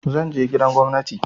Zan je gidan gwamnati.